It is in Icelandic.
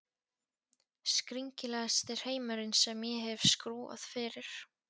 Skringilegasti hreimurinn sem ég hef skrúfað fyrir.